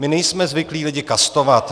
My nejsme zvyklí lidi kastovat.